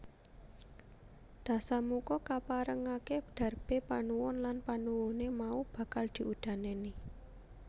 Dasamuka kaparengaké darbé panuwun lan panuwuné mau bakal diudanèni